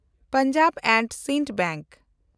Punjab and Sind bank